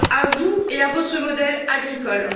À vous et à votre modèle agricole.